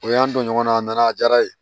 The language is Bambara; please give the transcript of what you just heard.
O y'an don ɲɔgɔnna a nana a diyara n ye